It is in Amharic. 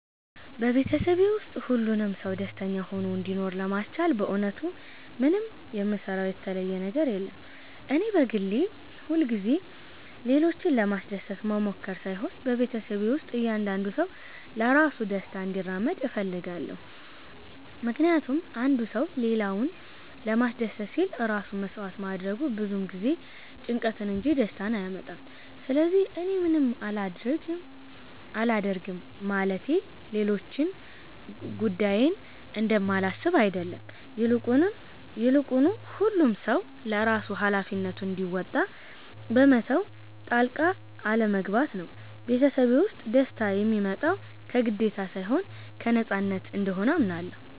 በቤተሰቤ ውስጥ ሁሉም ሰው ደስተኛ ሆኖ እንዲኖር ለማስቻል በእውነቱ ምንም የምሰራው የተለየ ነገር የለም። እኔ በግሌ ሁልጊዜ ሌሎችን ለማስደሰት መሞከር ሳይሆን በቤተሰቤ ውስጥ እያንዳንዱ ሰው ለራሱ ደስታ እንዲራመድ እፈልጋለሁ። ምክንያቱም አንድ ሰው ሌላውን ለማስደሰት ሲል ራሱን መሥዋዕት ማድረጉ ብዙ ጊዜ ጭንቀትን እንጂ ደስታን አያመጣም። ስለዚህ እኔ ምንም አላደርግም ማለቴ ሌሎች ጉዳዬን እንደማላስብ አይደለም፤ ይልቁኑ ሁሉም ሰው ለራሱ ሃላፊነቱን እንዲወጣ በመተው ጣልቃ አለመግባት ነው። ቤተሰቤ ውስጥ ደስታ የሚመጣው ከግዴታ ሳይሆን ከነፃነት እንደሆነ አምናለሁ።